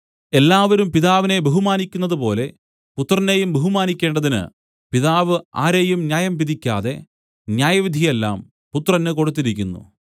എല്ലാവരും പിതാവിനെ ബഹുമാനിക്കുന്നതുപോലെ പുത്രനെയും ബഹുമാനിക്കേണ്ടതിന് പിതാവ് ആരെയും ന്യായം വിധിക്കാതെ ന്യായവിധി എല്ലാം പുത്രന് കൊടുത്തിരിക്കുന്നു